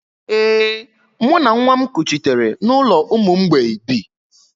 Ee, mụ na nwa m kuchitere n’ụlọ ụmụ mgbei bi